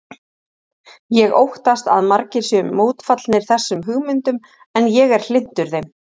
Ég óttast að margir séu mótfallnir þessum hugmyndum en ég er hlynntur þeim.